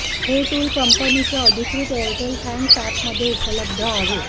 हे टूल कंपनीच्या अधिकृत एअरटेल थँक्स अॅपमध्ये उपलब्ध आहे